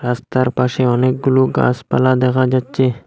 রাস্তার পাশে অনেকগুলো গাসপালা দেখা যাচ্ছে।